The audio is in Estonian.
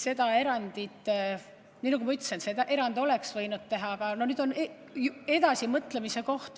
Seda erandit, nii nagu ma ütlesin, oleks võinud teha, aga nüüd on edasimõtlemise koht.